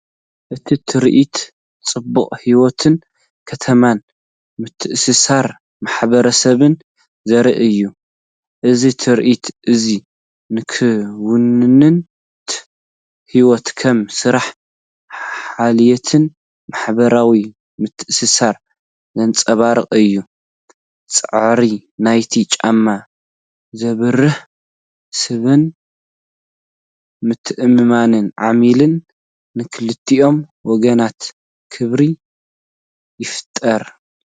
እቲ ትርኢት ጽባቐ ህይወት ከተማን ምትእስሳር ማሕበረሰብን ዘርኢ እዩ። እዚ ትርኢት እዚ ንክውንነት ህይወት ከም ስራሕ፡ ሓልዮትን ማሕበራዊ ምትእስሳርን ዘንጸባርቕ እዩ። ጻዕሪ ናይቲ ጫማ ዘብርህ ሰብን ምትእምማን ዓሚልን ንኽልቲኦም ወገናት ክብሪ ይፈጥር።